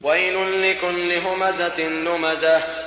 وَيْلٌ لِّكُلِّ هُمَزَةٍ لُّمَزَةٍ